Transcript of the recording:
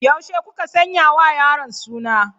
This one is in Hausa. Yaushe kuka sanya wa yaron suna?